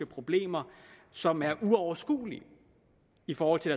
problemer som er uoverskuelige i forhold til